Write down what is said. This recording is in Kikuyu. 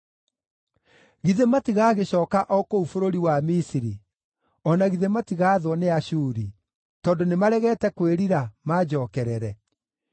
“Githĩ matigagĩcooka o kũu bũrũri wa Misiri, o na githĩ matigaathwo nĩ Ashuri, tondũ nĩmaregete kwĩrira, manjookerere?